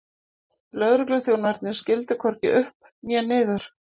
Lögregluþjónarnir skildu hvorki upp né niður.